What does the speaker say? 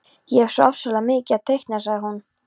Ég hef svo ofsalega mikið að teikna, sagði hún.